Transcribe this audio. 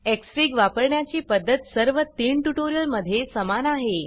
Xfig वापरण्याची पद्धत सर्व तीन ट्यूटोरियल मध्ये समान आहे